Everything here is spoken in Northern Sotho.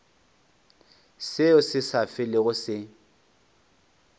seo se sa felego se